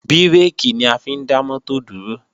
Bírèkì ni a fi ń dá mọ́tò dúró